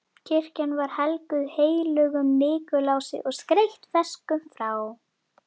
Kirkjan var helguð heilögum Nikulási og skreytt freskum frá